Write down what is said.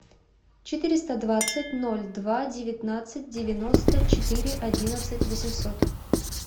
четыреста двадцать ноль два девятнадцать девяносто четыре одиннадцать восемьсот